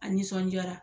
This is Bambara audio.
A nisɔnjaara